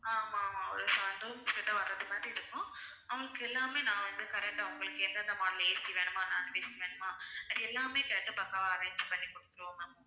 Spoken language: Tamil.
ஆமாம் ஆமாம் ஒரு seven rooms கிட்ட வர்றது மாதிரி இருக்கும் அவங்களுக்கு எல்லாமே நான் வந்து உங்களுக்கு எந்தெந்த model AC வேணுமா non AC வேணுமா இது எல்லாமே கேட்டு பக்காவா arrange பண்ணி குடுத்துடுவோம் ma'am